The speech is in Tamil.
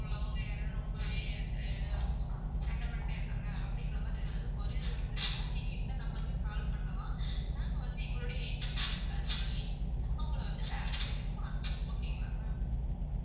உள்ளவங்க யாராவது ரொம்பவே இது சேட்டை பண்ணிட்டே இருக்காங்க அப்படிங்கிற மாதிரி ஏதாவது queries இருந்துச்சுன்னா நீங்க இந்த number க்கு call பண்ணலாம். நாங்க வந்து எங்களுடைய agents யாருக்காவது சொல்லி அவங்களை வந்து வேற seat க்கு மாத்துவோம் okay ங்களா ma'am